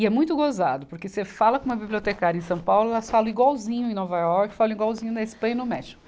E é muito gozado, porque você fala com uma bibliotecária em São Paulo, elas falam igualzinho em Nova York, falam igualzinho na Espanha e no México.